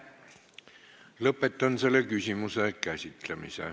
Lõpetan selle küsimuse käsitlemise.